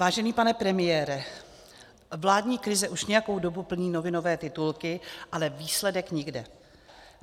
Vážený pane premiére, vládní krize už nějakou dobu plní novinové titulky, ale výsledek nikde.